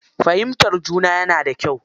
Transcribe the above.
Fahimtar juna yana da kyau.